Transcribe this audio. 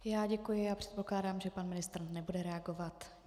Já děkuji a předpokládám, že pan ministr nebude reagovat.